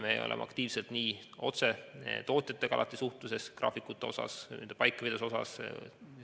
Me suhtleme aktiivselt otse tootjatega, suhtleme graafikute ja nende paikapidavuse asjus.